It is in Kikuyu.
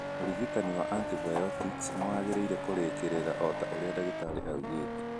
Ũrigitani wa antibiotic nĩ wagĩrĩire kũrĩkĩrira o ta ũrĩa ndagĩtarĩ augĩte.